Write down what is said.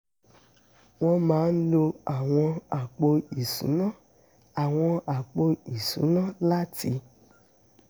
wọ́n máa ń lo àwọn áàpù ìṣúná àwọn áàpù ìṣúná láti